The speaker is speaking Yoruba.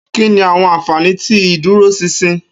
Kini awọn anfani ti iduroṣinṣin?